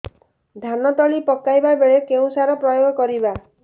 ଧାନ ତଳି ପକାଇବା ବେଳେ କେଉଁ ସାର ପ୍ରୟୋଗ କରିବା